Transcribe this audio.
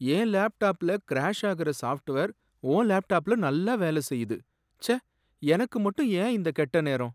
என் லேப்டாப்ல கிராஷ் ஆகுற சாஃப்ட்வேர் உன் லேப்டாப்ல நல்லா வேலை செய்யுது, ச்சே எனக்கு மட்டும் ஏன் இந்தக் கெட்ட நேரம்!